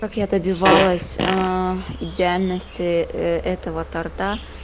как я добивалась идеальность этого торта